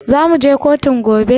Zamuje kotun gobe?